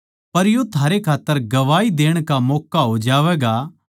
पर यो थारै खात्तर गवाही देण का मौक्का हो जावैगा